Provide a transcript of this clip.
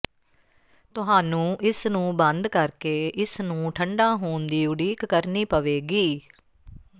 ਤੁਹਾਨੂੰ ਇਸਨੂੰ ਬੰਦ ਕਰਕੇ ਇਸ ਨੂੰ ਠੰਢਾ ਹੋਣ ਦੀ ਉਡੀਕ ਕਰਨੀ ਪਵੇਗੀ